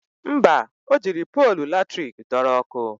Mba, o jiri polu latrik dọrọ ọkụ